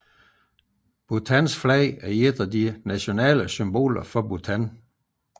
Bhutans flag er et af de nationale symboler for Bhutan